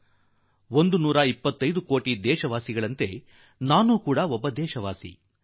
ನಾನು ಕೂಡಾ 125 ಕೋಟಿ ದೇಶವಾಸಿಗಳಂತೆ0iÉುೀ ಒಬ್ಬ ದೇಶವಾಸಿ